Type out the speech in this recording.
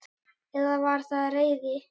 Eða var það reiði?